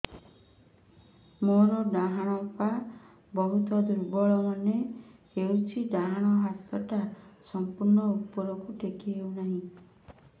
ମୋର ଡାହାଣ ପାଖ ବହୁତ ଦୁର୍ବଳ ମନେ ହେଉଛି ଡାହାଣ ହାତଟା ସମ୍ପୂର୍ଣ ଉପରକୁ ଟେକି ହେଉନାହିଁ